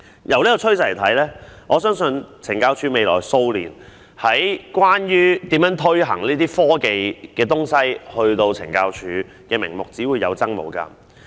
從這個趨勢可以見到，在未來數年，懲教署以科技為名推行的項目只會有增無減。